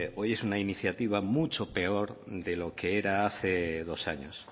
hoy es una iniciativa mucho peor de lo que era hace dos años